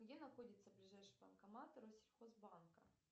где находится ближайший банкомат россельхозбанка